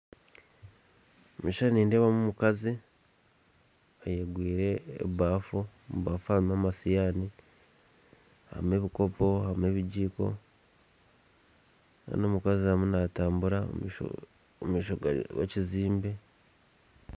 Omukishishani nindeebamu omukazi ayekoriire ebafu, ebafu harimu amashahaani, harimu ebikopo, harimu ebijiko kandi omukazi ariyo natambura omumaisho ga ekyombeko